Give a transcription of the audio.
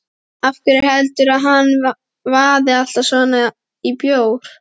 Af hverju heldurðu að hann vaði alltaf svona í bjór?